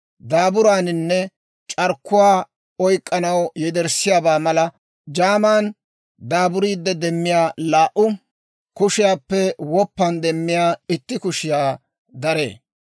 Daaburaaninne c'arkkuwaa oyk'k'anaw yederssiyaabaa mala jaaman daaburiide demmiyaa laa"u kushiyaappe, woppan demmiyaa itti kushiyaa daree.